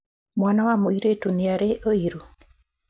Mwana wa mũirĩtu nĩarĩ ũiru?